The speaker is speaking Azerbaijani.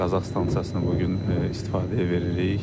Qazax stansiyasını bu gün istifadəyə veririk.